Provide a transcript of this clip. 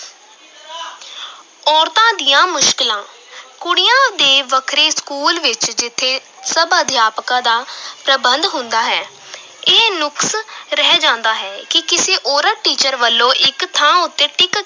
ਔਰਤਾਂ ਦੀਆਂ ਮੁਸ਼ਕਲਾਂ ਕੁੜੀਆਂ ਦੇ ਵੱਖਰੇ school ਵਿਚ ਜਿੱਥੇ ਸਭ ਅਧਿਆਪਕਾਂ ਦਾ ਪ੍ਰਬੰਧ ਹੁੰਦਾ ਹੈ ਇਹ ਨੁਕਸ ਰਹਿ ਜਾਂਦਾ ਹੈ ਕਿ ਕਿਸੇ ਔਰਤ teacher ਵਲੋਂ ਇਕ ਥਾਂ ਉੱਤੇ ਟਿੱਕ